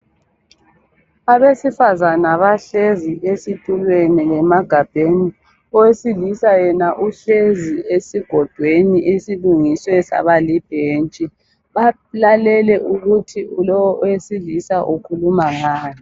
Abesifazana bahlezi esithulweni lemagabheni. Owesilisa yena uhlezi esigodweni esilungiswe saba libhenji. Balele ukuthi lowo owesilisa ukhuluma ngani.